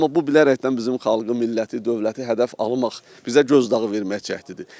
Amma bu bilərəkdən bizim xalqı, milləti, dövləti hədəf almaq, bizə göz dağı verməkdir.